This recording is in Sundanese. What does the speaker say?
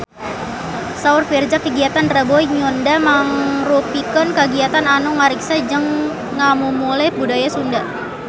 Saur Virzha kagiatan Rebo Nyunda mangrupikeun kagiatan anu ngariksa jeung ngamumule budaya Sunda